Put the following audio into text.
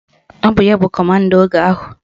Ọ bụ ya bụ kọmanda oge ahụ